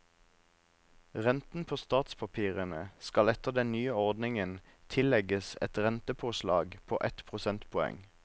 Renten på statspapirene skal etter den nye ordningen tillegges et rentepåslag på ett prosentpoeng.